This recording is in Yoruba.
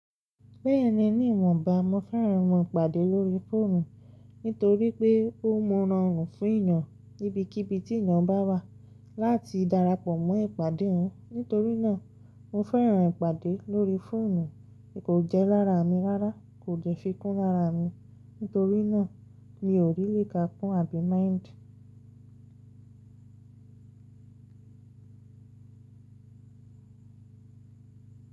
Bẹ́ẹ̀ni ní ìwọ̀nba, mo fẹ́ran ìpàdé lórí fóònù nítorí pé ó mu rọrùn hàn fún ìyàn ibikíbi tí ìyàn bá wà láti darapọ̀ mọ́ ìpàdé hun. Nítorínà, mo fẹ́ran ìpàdé lórí fóònù, kò jẹ́ lára mi rárá, kò dẹ̀ fikún lára mi. Nítorí nà mi ò rí líka kún àbí mind.